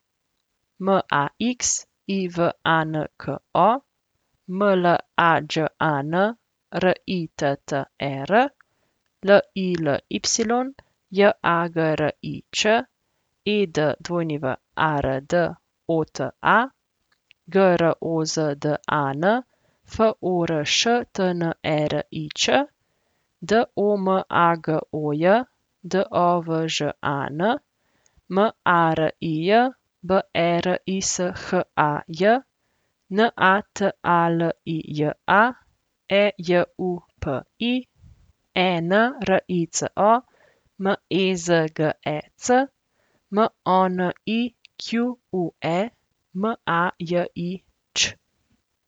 Max Ivanko, Mlađan Ritter, Lily Jagrič, Edward Ota, Grozdan Forštnerič, Domagoj Dovžan, Marij Berishaj, Natalija Ejupi, Enrico Mezgec, Monique Majić.